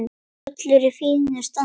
Völlur í fínu standi.